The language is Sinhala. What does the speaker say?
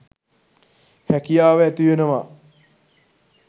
හැකියාව ඇතිවෙනවා